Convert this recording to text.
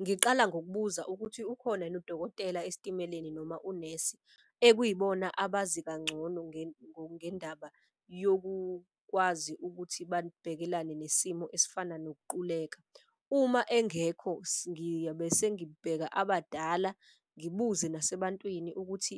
Ngiqala ngokubuza ukuthi ukhona yini udokotela esitimeleni noma unesi ekuyibona abazi kangcono ngendaba yokukwazi ukuthi nesimo esifana nokuquleka. Uma engekho ngiyobe sengibheka abadala ngibuze nasebantwini ukuthi